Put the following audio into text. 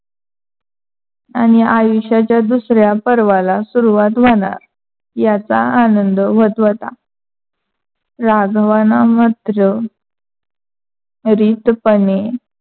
आणि आयुष्याच्या दुसऱ्या पर्वाला सुरुवात व्‍हनार याचा आनंद व्‍हत व्‍हता. राघवानं मात्र रितपणे